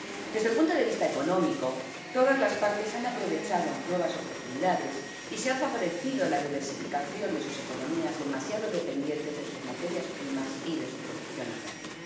Desde el punto de vista económico, todas las partes han aprovechado nuevas oportunidades, y se ha favorecido la diversificación de sus economías demasiado dependientes de sus materias primas y de su producción agraria.